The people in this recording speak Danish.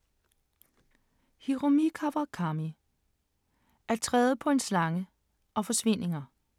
Hiromi Kawakami: At træde på en slange og Forsvindinger